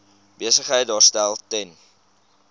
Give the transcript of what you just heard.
besigheid daarstel ten